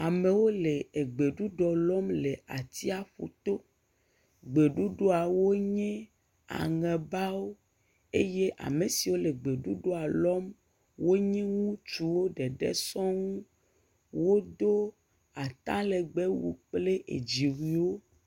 Amewo le egbeɖuɖɔ lɔm le atsiaƒu to, gbeɖuɖɔawo nye aŋebawo eye ame siwo le gbeɖuɖɔa lɔm wonye ŋutsuwo ɖeɖe sɔŋ, wodo ata legbewu kple edzi wu wo.